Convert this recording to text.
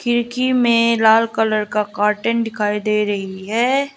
खिड़की में लाल कलर का कर्टन दिखाई दे रही है।